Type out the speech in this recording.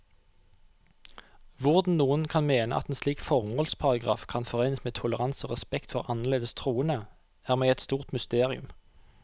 Hvordan noen kan mene at en slik formålsparagraf kan forenes med toleranse og respekt for annerledes troende, er meg et stort mysterium.